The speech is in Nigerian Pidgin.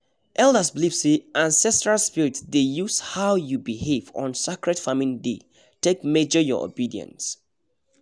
elders believe say ancestral spirits dey use how you behave on sacred farming day take measure your obedience